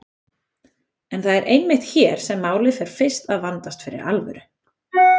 En það er einmitt hér sem málið fer fyrst að vandast fyrir alvöru.